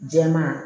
Jɛman